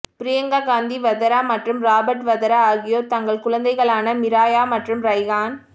ப்ரியங்கா காந்தி வதரா மற்றும் ராபர்ட் வதரா ஆகியோர் தங்கள் குழந்தைகளான மிராயா மற்றும் ரைஹான்